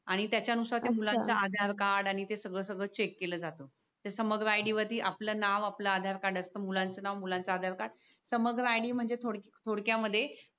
आणि त्याच्यानुसार ते मुलांचा आधार कार्ड आणि ते सगळं सगळं चेक केलं जात ते समग्र आय डी वरती आपलं नाव आपला आधार कार्ड असतं मुलांचे नाव मुलांचा आधार कार्ड समग्र आयडी म्हणजे थोडक्यामध्ये